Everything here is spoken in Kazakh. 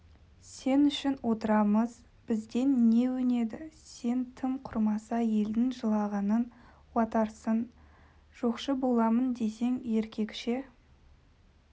сен үшін отырамыз бізден не өнеді сен тым құрмаса елдің жылағанын уатарсың жоқшы боламын десең еркекше